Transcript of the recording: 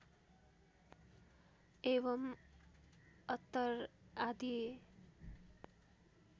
एवं अत्तर आदि